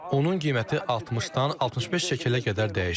Onun qiyməti 60-dan 65 şekelə qədər dəyişir.